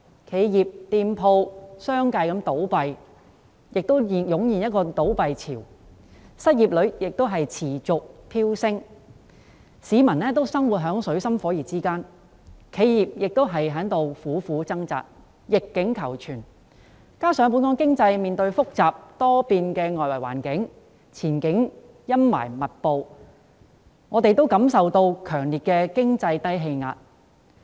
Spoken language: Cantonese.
企業及店鋪相繼倒閉，湧現倒閉潮；失業率持續飆升，市民生活在水深火熱之中；企業在苦苦掙扎，逆境求存；加上本港經濟面對複雜多變的外來環境，前景陰霾密布，我們也感受到強烈的經濟低氣壓。